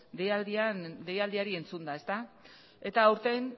deialdiari entzunda eta aurten